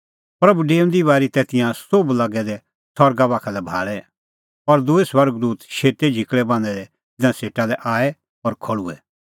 प्रभू डेऊंदी बारी तै तिंयां सोभ लागै दै सरगा बाखा लै भाल़ै और दूई स्वर्ग दूत शेतै झिकल़ै बान्हैं दै तिन्नां सेटा लै आऐ और खल़्हुऐ